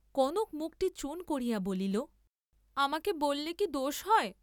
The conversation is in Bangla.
কনক মুখটী চুন করিয়া বলিল, আমাকে বল্‌লে কি দোষ হয়?